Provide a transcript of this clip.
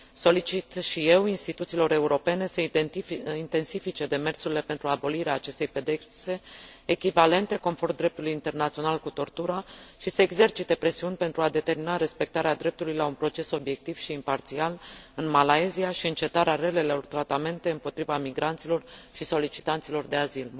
Solicit și eu instituțiilor europene să intensifice demersurile pentru abolirea acestei pedepse echivalente, conform dreptului internațional, cu tortura și să exercite presiuni pentru a determina respectarea dreptului la un proces obiectiv și imparțial în Malaysia și încetarea relelor tratamente împotriva migranților și solicitanților de azil.